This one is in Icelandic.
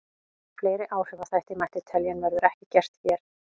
Fleiri áhrifaþætti mætti telja en verður ekki gert hér.